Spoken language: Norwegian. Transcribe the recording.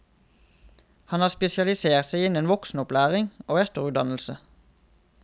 Han har spesialisert seg innen voksenopplæring og etterutdannelse.